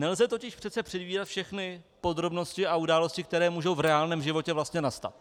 Nelze totiž předvídat všechny podrobnosti a události, které mohou v reálném životě vlastně nastat.